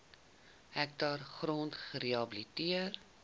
hektaar grond gerehabiliteer